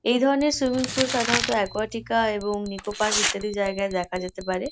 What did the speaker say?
এই ধরণের swimming pool সাধারণত একুয়াটিকা এবং নিকো পার্ক ইত্যাদি জায়গায় দেখা যেতে পারে।